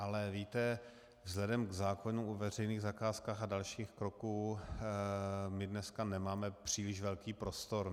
Ale víte, vzhledem k zákonu o veřejných zakázkách a dalších kroků, my dneska nemáme příliš velký prostor.